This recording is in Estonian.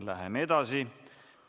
Läheme edasi.